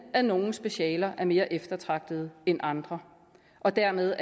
at nogle specialer er mere eftertragtede end andre og dermed